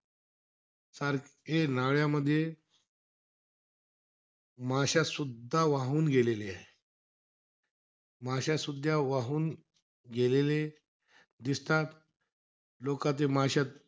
सारखे नाळ्यामध्ये माश्यासुद्धा वाहून गेलेले आहे. माश्यासुद्धा वाहून गेलेले दिसतात. लोकाचे माश्या,